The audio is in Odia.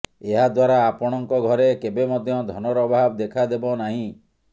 ଏହାଦ୍ୱାରା ଆପଣଙ୍କ ଘରେ କେବେ ମଧ୍ୟ ଧନର ଅଭାବ ଦେଖାଦେବନାହିଁ